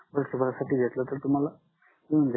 वर्ष भर साठी घेतल तर तुम्हाला मिडून जाईल